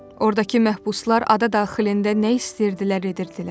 Ordakı məhbuslar ada daxilində nə istəyirdilər edirdilər.